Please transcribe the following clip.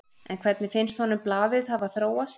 En hvernig finnst honum blaðið hafa þróast?